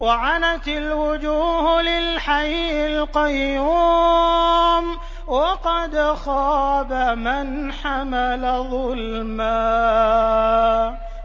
۞ وَعَنَتِ الْوُجُوهُ لِلْحَيِّ الْقَيُّومِ ۖ وَقَدْ خَابَ مَنْ حَمَلَ ظُلْمًا